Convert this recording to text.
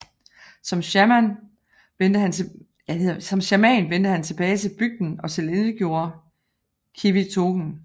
Som shaman vendte han tilbage til bygden og tilintetgjorde qivitoqen